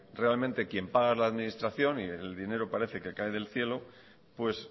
realmente que el que paga es la administración y el dinero parece que cae del cielo pues